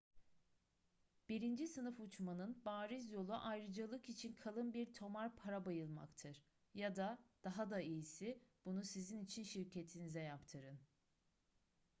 birinci sınıf uçmanın bariz yolu ayrıcalık için kalın bir tomar para bayılmaktır ya da daha da iyisi bunu sizin için şirketinize yaptırın